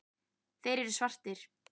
Þeir eru svartir.